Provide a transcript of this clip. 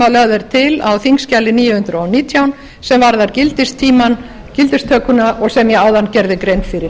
að lögð er til á þingskjali níu hundruð og nítján sem varðar gildistökuna sem ég áðan gerði grein fyrir